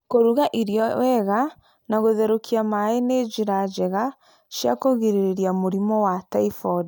Kũruga irio wega na gũtherukia maĩ nĩ njĩra njega cia kwĩgirĩrĩria mũrimũ wa typhoid